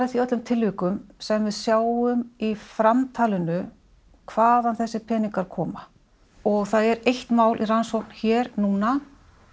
því öllum tilvikum sem við sjáum í framtalinu hvaðan þessir peningar koma og það er eitt mál í rannsókn hér núna